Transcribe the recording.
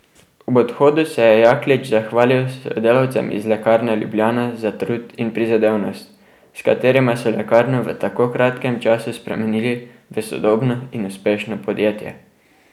Ob odhodu se je Jaklič zahvalil sodelavcem iz Lekarne Ljubljana za trud in prizadevnost, s katerima so lekarno v tako kratkem času spremenili v sodobno in uspešno podjetje.